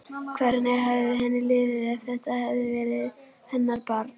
Hvernig hefði henni liðið ef þetta hefði verið hennar barn?